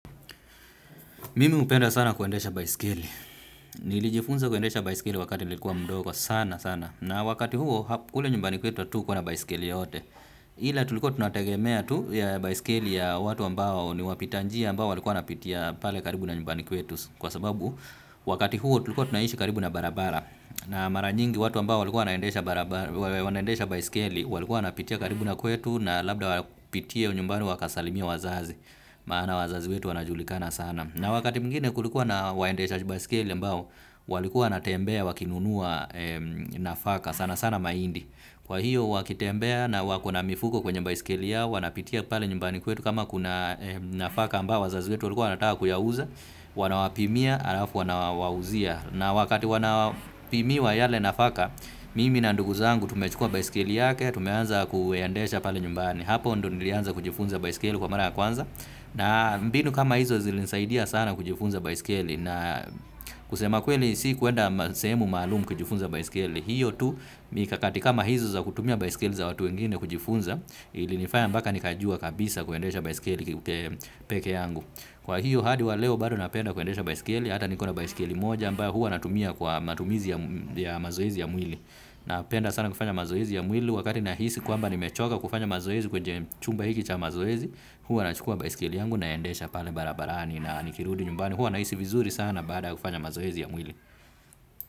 Mimi hupenda sana kuendesha baisikeli. Nilijifunza kuendesha baisikeli wakati nilikuwa mdogo sana sana. Na wakati huo, kule nyumbani kwetu hatu kuwana baisikeli yoyote. Ila tulikuwa tunategemea tu ya baisikeli ya watu ambao ni wapitanjia ambao walikuwa napitia pale karibu na nyumbani kwetu. Kwa sababu, wakati huo tulikuwa tunaishi karibu na barabara. Na maranyingi watu ambao walikuwa naendesha baisikeli walikuwa wanapitia karibu na kwetu na labda kupitia nyumbani wakasalimie wazazi. Maana wazazi wetu wanajulikana sana. Na wakati mwingine kulikuwa na waendecha jibaisikeli ambao walikuwa wanatembea wakinunua nafaka sana sana mahindi. Kwa hiyo wakitembea na wakona mifuko kwenye baisikeli yao wanapitia pale nyumbani kwetu kama kuna nafaka ambao wazaziwetu walikuwa wanataka kuyauza, wanawapimia, alafu wanawauzia. Na wakati wanapimiwa yale nafaka, mimi na ndugu zangu tumechukua baisikeli yake, tumeanza kuendesha pale nyumbani. Hapo ndo nilianza kujifunza baisikeli kwa mara kwanza na mbinu kama hizo zilinisaidia sana kujifunza baisikeli na kusema kweli si kwenda sehemu maalumu kujifunza baisikeli hiyo tu mikakatika mahizo za kutumia baisikeli za watu wengine kujifunza ili nifanya mpaka nikajua kabisa kuendesha baisikeli pekee yangu kwa hiyo hadi wa leo bado napenda kuendesha baisikeli hata nikona baisikeli moja ambayo hua natumia kwa matumizi ya mazoezi ya mwili napenda sana kufanya mazoezi ya mwili wakati nahisi kwamba ni mechoka kufanya mazoezi kwenye chumba hiki cha mazoezi huwa nachukua baisikeli yangu na endesha pale barabarani na nikirudi nyumbani huwa nahisi vizuri sana baadaya kufanya mazoezi ya mwili.